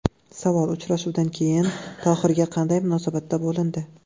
Savol: Uchrashuvdan keyin Tohirga qanday munosabatda bo‘lindi?